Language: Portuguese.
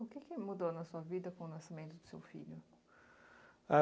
O que que mudou na sua vida com o nascimento do seu filho? A